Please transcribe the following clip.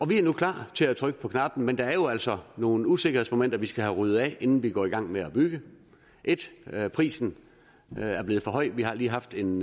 vi er nu klar til at trykke på knappen men det er jo altså nogle usikkerhedsmomenter vi skal have ryddet af vejen inden vi går i gang med at bygge et er at prisen er blevet for høj vi har lige haft en